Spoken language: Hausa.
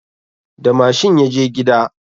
Da mashin ya je gida